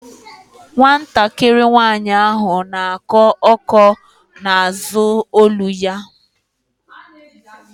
Nwatakịrị nwaanyị ahụ na-akọ ọ́kọ́ na-azụ olu ya.